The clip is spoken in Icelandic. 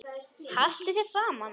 Haltu þér saman